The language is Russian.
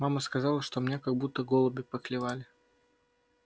мама сказала что меня как будто голуби поклевали